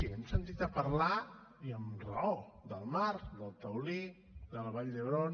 hem sentit a parlar i amb raó del mar del taulí de la vall d’hebron